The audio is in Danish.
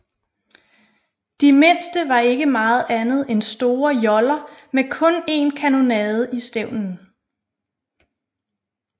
De mindste var ikke meget andet end store joller med kun en kanonade i stævnen